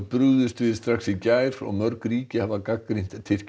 brugðust við strax í gær og mörg ríki hafa gagnrýnt